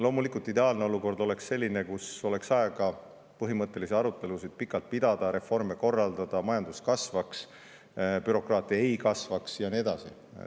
Loomulikult, ideaalne olukord oleks selline, kus oleks aega põhimõttelisi arutelusid pikalt pidada, reforme korraldada, majandus kasvaks, bürokraatia ei kasvaks ja nii edasi.